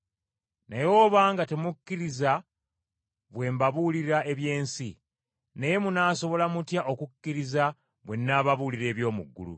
Naye obanga temukkiriza bwe mbabuulira eby’ensi, kale munaasobola mutya okukkiriza bwe nnaababuulira eby’omu ggulu?